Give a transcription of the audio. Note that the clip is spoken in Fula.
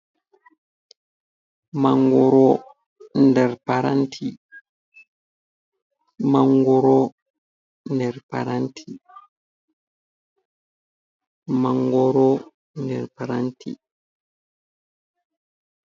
Mangoro nder paranti, mangoro nder paranti.